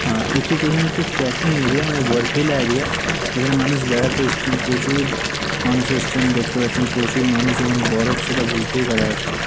আ এটি যে কোন একটি ট্র্যাকিং এরিয়া মানে বরফিলা এরিয়া যেখানে মানুষ বেড়াতে এসছেন। প্রচুর মানুষ এসছেন দেখতে পাচ্ছেন প্রচুর মানুষ এবং বরফ সেটা বুঝতেই পারা যাচ্ছে ।